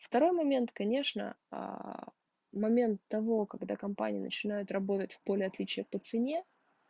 второй момент конечно момент того когда компания начинает работать в поле отличия по цене